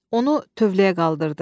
Onu tövləyə qaldırdı.